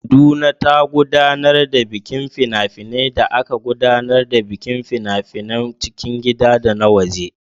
Kaduna ta gudanar da bikin fina-finai da aka gudanar da bikin fina-finan cikin gida da na waje.